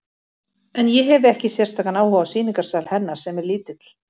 En ég hefi ekki sérstakan áhuga á sýningarsal hennar, sem er lítill.